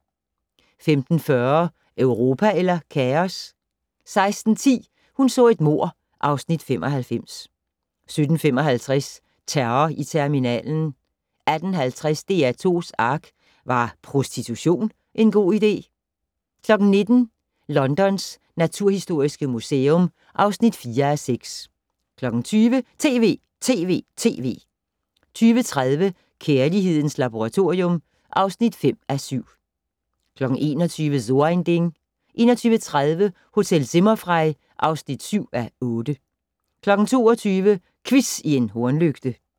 15:40: Europa eller kaos? 16:10: Hun så et mord (Afs. 95) 17:55: Terror i terminalen 18:50: DR2's ARK - Var prostitution en god idé? * 19:00: Londons naturhistoriske museum (4:6) 20:00: TV!TV!TV! 20:30: Kærlighedens Laboratorium (5:7) 21:00: So ein Ding 21:30: Hotel Zimmerfrei (7:8) 22:00: Quiz i en hornlygte